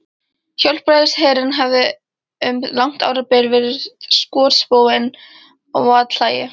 Hjálpræðisherinn hafði um langt árabil verið skotspónn og athlægi